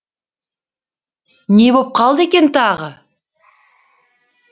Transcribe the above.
не боп қалды екен тағы